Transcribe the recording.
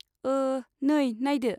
ओ! नै नायदो।